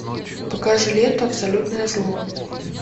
покажи ленту абсолютное зло